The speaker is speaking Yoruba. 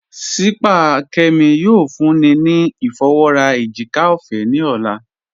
Sípàá Kẹ́mí yóò fúnní ni ifọwọ́rà èjìkà ọfẹ́ ni ọlá.